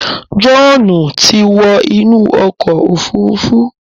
John tí wọ inú okò òfurufú